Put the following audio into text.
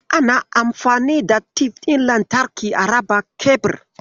Ana anfani da tif ɗin lantarki a raba kebir.